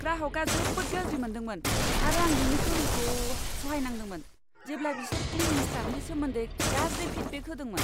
ग्राहकआ जोबोद गाज्रि मोनदोंमोन आरो आं बेनि गोहोमखौ सहायनांदोंमोन जेब्ला बिसोर क्लिनिं स्टाफनि सोमोन्दै गाज्रि फिडबेक होदोंमोन।